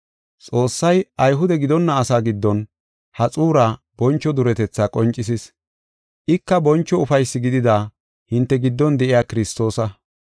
Xoossay Ayhude gidonna asaa giddon ha xuuraa boncho duretetha qoncisis. Ika boncho ufaysi gidida hinte giddon de7iya Kiristoosa.